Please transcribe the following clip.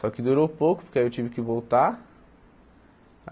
Só que durou pouco, porque aí eu tive que voltar.